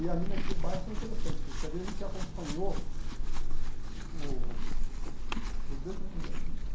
E ali naquele bairro foi interessante, porque ali a gente acompanhou o o desenvolvimento juntos.